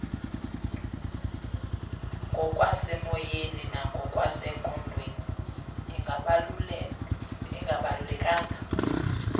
ngokwasemoyeni nangokwasengqondweni ingabalulekanga